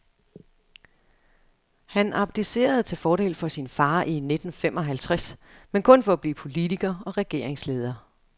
Han abdicerede til fordel for sin far i nitten femoghalvtreds, men kun for at blive politiker og regeringsleder.